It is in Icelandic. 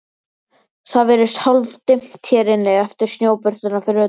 Það virðist hálfdimmt hér inni eftir snjóbirtuna fyrir utan.